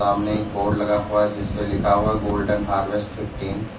सामने एक बोर्ड लगा हुआ है जिसपे लिखा हुआ गोल्डन हार्वेस्ट फिफ्टीन ।